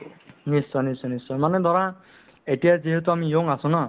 নিশ্চয় নিশ্চয় নিশ্চয় মানে ধৰা এতিয়া যিহেতু আমি young আছো না